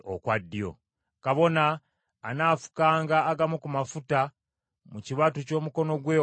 Kabona anaafukanga agamu ku mafuta mu kibatu ky’omukono gwe ogwa kkono,